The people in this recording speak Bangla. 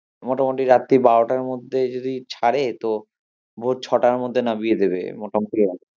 মোটামুটি রাত্রির বারোটার মধ্যে যদি ছারে তো ভোর ছটার মধ্যে নামিয়ে দেবে মোটামুটি ওখানে